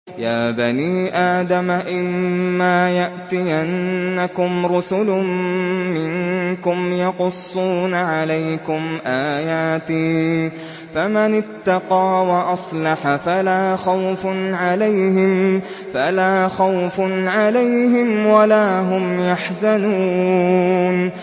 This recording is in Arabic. يَا بَنِي آدَمَ إِمَّا يَأْتِيَنَّكُمْ رُسُلٌ مِّنكُمْ يَقُصُّونَ عَلَيْكُمْ آيَاتِي ۙ فَمَنِ اتَّقَىٰ وَأَصْلَحَ فَلَا خَوْفٌ عَلَيْهِمْ وَلَا هُمْ يَحْزَنُونَ